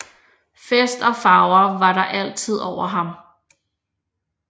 Fest og farver var der altid over ham